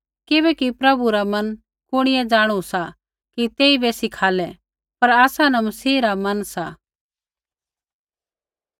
किबैकि प्रभु रा मन कुणिऐ जाणु सा कि तेइबै सिखालै पर आसा न मसीह रा मन सा